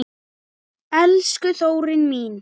Elsku Þórunn mín.